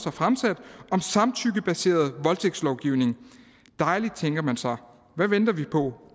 har fremsat om samtykkebaseret voldtægtslovgivning dejligt tænker man så hvad venter vi på